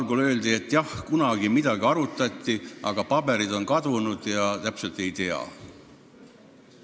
Mulle öeldi, et kunagi midagi arutati, aga paberid on kadunud ja täpselt ei tea.